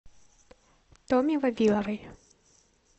томе вавиловой